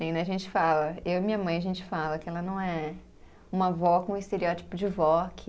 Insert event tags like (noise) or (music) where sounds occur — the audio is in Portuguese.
(unintelligible) A gente fala, eu e minha mãe, a gente fala que ela não é uma vó com estereótipo de vó que